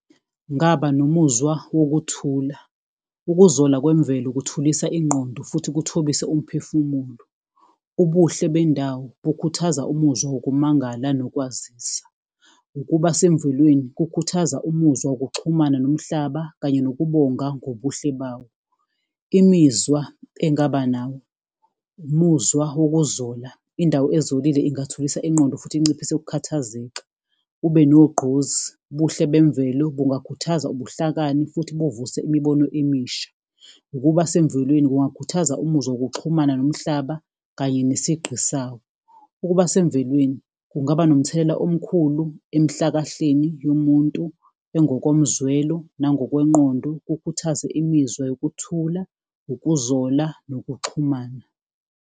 Ngaba nomuzwa wokuthula. Ukuzola kwemvelo kuthulisa ingqondo futhi kuthobise umphefumulo. Ubuhle bendawo bukhuthaza umuzwa ngokumangala nokwazisa. Ukuba semvelweni kukhuthaza umuzwa wokuxhumana nomhlaba kanye nokubonga ngobuhle bawo. Imizwa engaba nawo, umuzwa wokuzola. Indawo ezolile ingathuthukisa ingqondo futhi inciphise ukukhathazeka, ube nogqozi. Ubuhle bemvelo bungakhuthaza ubuhlakani futhi buvuse imibono emisha. Ukuba semvelweni kungakhuthaza umuzwa wokuxhumana nomhlaba kanye nesigqi sawo. Ukuba semvelweni kungaba nomthelela omkhulu emhlakahleni yomuntu ezingokomzwelo nangokwengqondo, kukhuthaze imizwa yokuthula, ukuzola nokuxhumana.